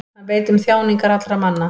Hann veit um þjáningar allra manna.